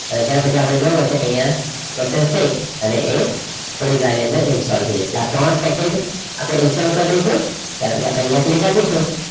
અહીંયા process થઈ અને એ થોડી જ વારમાં ઇન્સ્ટોલ થઈ જશે આ ત્રણ બે જ આપણે ઇન્સ્ટોલ કરી દઈશું રાઈટ પર અહિયા click આપીશું